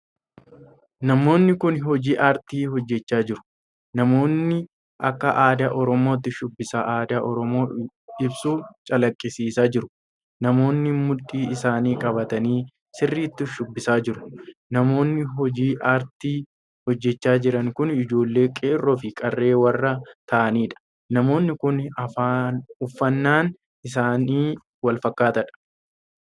Namoonni kun hojii aartii hojjechaa jiru. namoonni akka aadaa oromootti shubbisa aadaa Oromoo ibsu calaqqisiisaa jiru. namoonni mudhiin isaanii qabatanii sirriitti shubbisaa jiru. namoonni hojii aartii hojjechaa jiran kun ijoollee qeerroo fi qarree warra ta'aniidha. namoonni kun uffannaan isaanii wal fakkaatadha.